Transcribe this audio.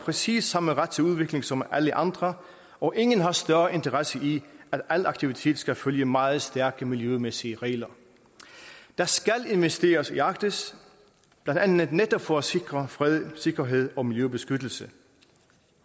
præcis samme ret til udvikling som alle andre og ingen har større interesse i at al aktivitet skal følge meget stærke miljømæssige regler der skal investeres i arktis blandt andet netop for at sikre fred sikkerhed og miljøbeskyttelse